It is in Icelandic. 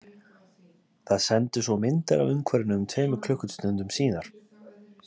Það sendir svo myndir af umhverfinu um tveimur klukkustundum síðar.